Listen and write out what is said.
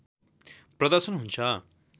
प्रदर्शन हुन्छ